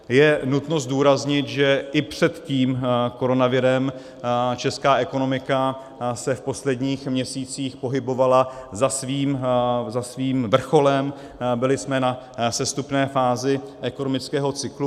Je nutné zdůraznit, že i před tím koronavirem česká ekonomika se v posledních měsících pohybovala za svým vrcholem, byli jsme na sestupné fázi ekonomického cyklu.